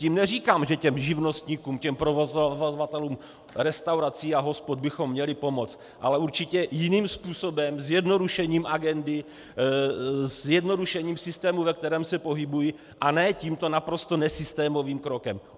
Tím neříkám, že těm živnostníkům, těm provozovatelům restaurací a hospod bychom měli pomoct, ale určitě jiným způsobem, zjednodušením agendy, zjednodušením systému, ve kterém se pohybují, a ne tímto naprosto nesystémovým krokem.